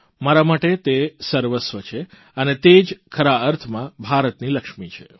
મારા માટે તે સર્વસ્વ છે અને તે જ ખરા અર્થમાં ભારતની લક્ષ્મી છે